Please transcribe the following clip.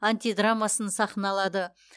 антидрамасын сахналады